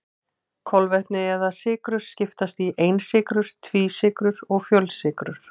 Kolvetni eða sykrur skiptast í einsykrur, tvísykrur og fjölsykrur.